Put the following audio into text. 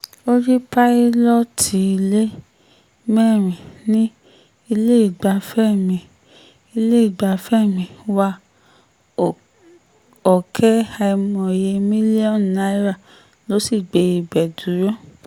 orí pílọ́ọ̀tì ilé mẹ́rin ní iléegbafẹ́ mi iléegbafẹ́ mi wá ọ̀kẹ́ àìmọye mílíọ̀nù náírà ló sì gbé ibẹ̀ dúró